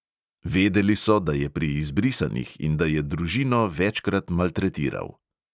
Vedeli so, da je pri izbrisanih in da je družino večkrat maltretiral.